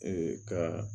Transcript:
Ee ka